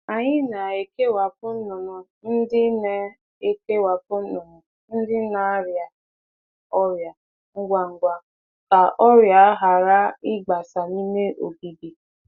Anyị na-ekewapụ anụ ọkụkọ na-arọ ọrịa ngwa ngwa iji gbochie mgbasa ọrịa n'ime ogige.